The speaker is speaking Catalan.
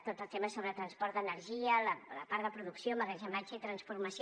tot el tema sobre transport d’energia la part de producció emmagatzematge i transformació